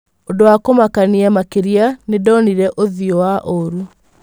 ũndũwa kũmakania makĩrĩa nĩndonĩre ũthĩũwa ũũru.